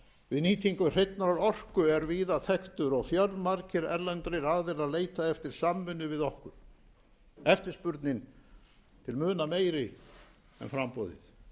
við nýtingu hreinnar orku er víða þekktur og fjölmargir erlendir aðilar leita eftir samvinnu við okkur eftirspurnin til muna meiri en framboðið